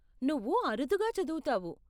నువ్వు అరుదుగా చదువుతావు.